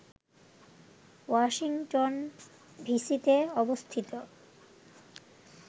Washington ডিসিতে অবস্থিত